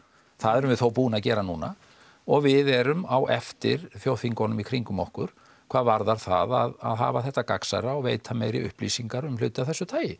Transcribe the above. það erum við þó búin að gera núna og við erum á eftir þjóðþingunum í kringum okkur hvað varðar að hafa þetta gagnsærra og veita meiri upplýsingar um hluti af þessu tagi